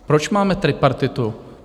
Proč máme tripartitu?